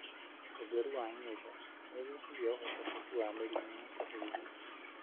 ũtheru wa nyũmba nĩũnyihagia ũhotekeku wa mĩrimũ ya kũhuhia.